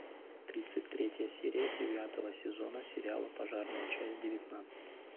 тридцать третья серия девятого сезона сериала пожарная часть девятнадцать